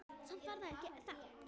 Samt var það ekki það.